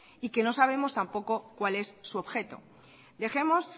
y que no sabemos tampoco cuál es su objeto dejemos